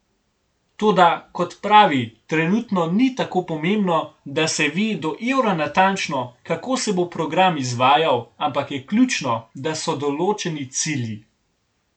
Toda, kot pravi, trenutno ni tako pomembno, da se ve do evra natančno, kako se bo program izvajal, ampak je ključno, da so določeni cilji.